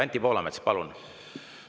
Anti Poolamets, palun!